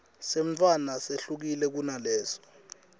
semntfwana sehlukile kunalesi